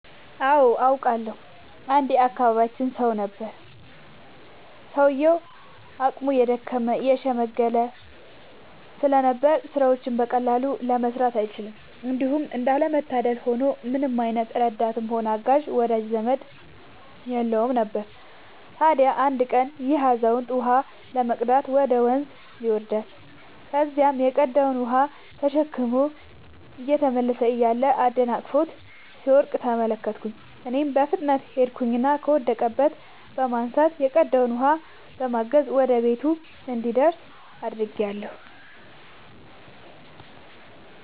አዎ አውቃለሁ። አንድ የአካባቢያችን ሰው ነበረ፤ ሰውዬውም አቅሙ የደከመ የሽምገለ ስለነበር ስራዎችን በቀላሉ መስራት አይችልም። እንዲሁም እንዳለ መታደል ሆኖ ምንም አይነት ረዳትም ሆነ አጋዥ ወዳጅ ዘመድም የለውም ነበር። ታዲያ አንድ ቀን ይሄ አዛውንት ውሃ ለመቅዳት ወደ ወንዝ ይወርዳል። ከዚያም የቀዳውን ውሃ ተሸክሞ እየተመለሰ እያለ አደናቅፎት ሲወድቅ ተመለከትኩኝ እኔም በፍጥነት ሄድኩኝና ከወደቀበት በማንሳት የቀዳውንም በማገዝ ወደ ቤቱ እንዲደርስ አድርጌአለሁ።